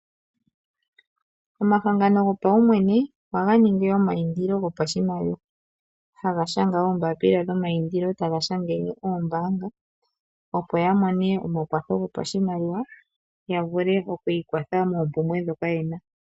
Omahangano gopaumwene ohaga ningi omaindilo gopashimaliwa, haga shanga oombapila dhomaindilo taga shangele oombaanga, opo yamone omakwatho gopashimaliwa, yavule okwiikwatha moompumbwe ndhoka yena.